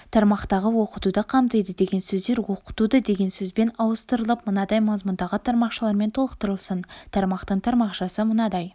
тармақтағы оқытуды қамтиды деген сөздер оқытуды деген сөзбен ауыстырылып мынадай мазмұндағы тармақшалармен толықтырылсын тармақтың тармақшасы мынадай